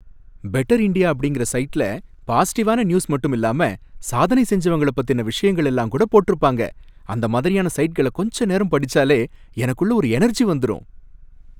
Better India அப்படிங்கற சைட்ல பாஸிட்டிவான நியூஸ் மட்டுமில்லாம சாதனை செஞ்சவங்கள பத்தின விஷயங்கள் எல்லாம் கூட போட்டிருப்பாங்க, அந்த மாதிரியான சைட்கள கொஞ்ச நேரம் படிச்சாலே எனக்குள்ள ஒரு எனர்ஜி வந்துரும்.